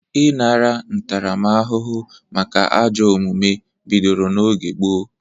Ịnara ntaramahụhụ maka ajọ omume bidoro n'oge gboo.